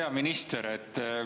Hea minister!